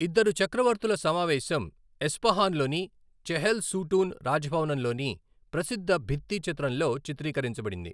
ఇద్దరు చక్రవర్తుల సమావేశం ఎస్ఫహాన్లోని చెహెల్ సూటూన్ రాజభవనం లోని ప్రసిద్ధ భిత్తి చిత్రంలో చిత్రీకరించబడింది.